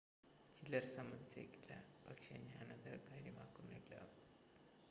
ചിലർ സമ്മതിച്ചേക്കില്ല പക്ഷെ ഞാൻ അത് കാര്യമാക്കുന്നില്ല